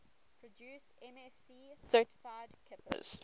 produce msc certified kippers